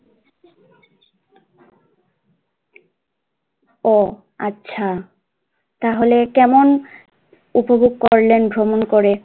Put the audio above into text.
ও আচ্ছা তাহলে কেমন উপভোগ করলেন ভ্রমণ করে?